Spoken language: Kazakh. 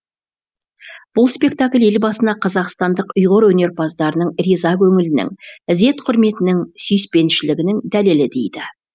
бұл спектакль елбасына қазақстандық ұйғыр өнерпаздарының риза көңілінің ізет құрметінің сүйіспеншілігінің дәлелі дейді